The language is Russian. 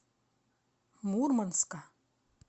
мурманска